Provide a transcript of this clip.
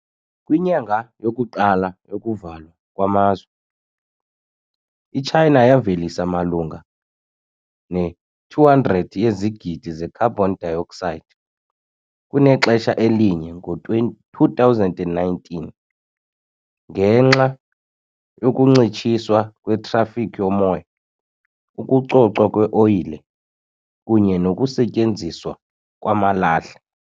Kwinyanga yokuqala yokuvalwa kwamazwe, iChina yavelisa malunga ne-200 yezigidi ze carbon dioxide kunexesha elinye ngo-2019 ngenxa yokuncitshiswa kwetrafikhi yomoya, ukucocwa kweoyile, kunye nokusetyenziswa kwamalahle.